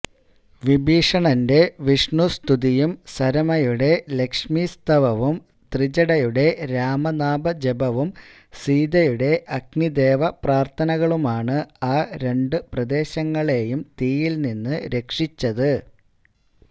വിഭീഷണന്റെ വിഷ്ണുസ്തുതിയും സരമയുടെ ലക്ഷ്മീസ്തവവും ത്രിജടയുടെ രാമനാമജപവും സീതയുടെ അഗ്നിദേവ പ്രാര്ഥനകളുമാണ് ആ രണ്ടു പ്രദേശങ്ങളേയും തീയില് നിന്നും രക്ഷിച്ചത്